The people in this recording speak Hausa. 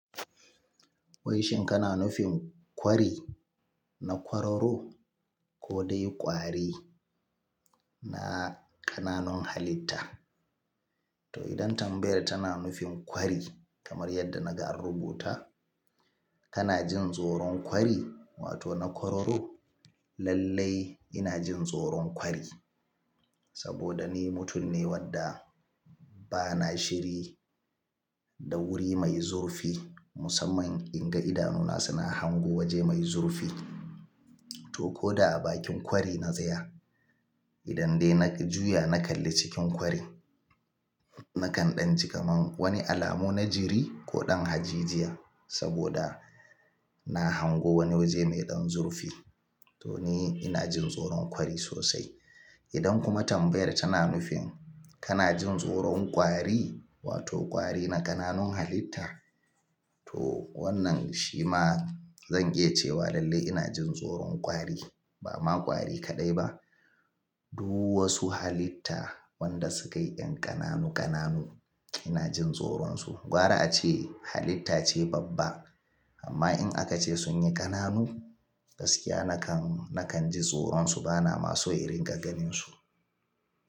Wai shin kana nufin kwari na kwararo ko dai kwari na ƙananun halitta? To idan Tambaya tana nufin kwari kamar yadda na ga rubuta, kana jin tsoron kwari wato na kwararo? Lallai ina jin tsoron kwari saboda ni mutum ne wadda ba na shiri da wuri mai zurfi musamman in ga idanuna suna hango waje mai zurfi. To ko da a bakin kwari na saya, idan dai na juya na kalli cikin kwari nakan ɗan ji kamar wani alamu na jiri ko ɗan haji jiya saboda na hango wani waje mai ɗan zurfi. To ni ina jin tsoron kwari sosai. Idan kuma Tambaya tana nufin kana jin tsoron kwari wato kwari na ƙananun halitta, to wannan shi ma zan iya cewa lallai ina jin tsoron kwari. Ba ma kwari kaɗai ba, duk wasu halitta wanda sukayi ƙananu ƙananu ina jin tsoronsu. Gwara ace halitta ce babba amma in aka ce sun yi ƙananu gaskiya nakan, nakan ji tsoronsu bana ma so in riga ganinsu.